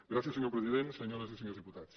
gràcies senyor president senyores i senyors diputats